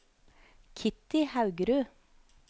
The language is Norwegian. Kitty Haugerud